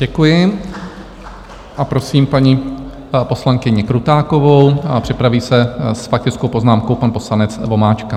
Děkuji a prosím paní poslankyni Krutákovou a připraví se s faktickou poznámkou pan poslanec Vomáčka.